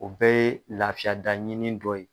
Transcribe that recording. O bɛɛ ye lafiya daɲini dɔ ye